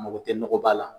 A mago tɛ nɔgɔba la